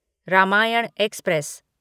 Ramayan express